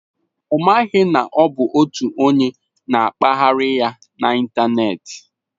Ọ maghị na ọ bụ otu onye na-akpagharị ya n'ịntanetị.